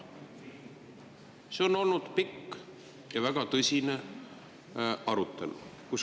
See on olnud pikk ja väga tõsine arutelu.